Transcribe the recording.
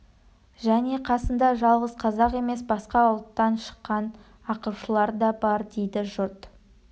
және қасында жалғыз қазақ емес басқа ұлттан шыққан ақылшылары да бар дейді жұрт